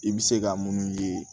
I bɛ se ka munnu ye